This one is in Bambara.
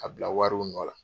Ka bila wariw nɔ la.